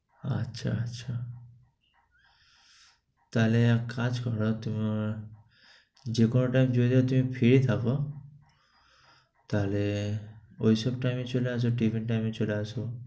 আচ্ছা, আচ্ছা। তাহলে এক কাজ করো তুমি আমার দুপুর time যদি তুমি free থাকো, তাহলে ঐসব time এ চলে আসো, tiffin time এ চলে আসো।